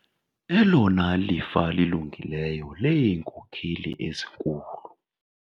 Elona lifa lilungileyo leenkokheli ezinkulu.